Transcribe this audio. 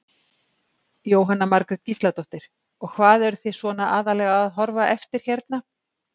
Jóhanna Margrét Gísladóttir: Og hvað eruð þið svona aðallega að horfa eftir hérna?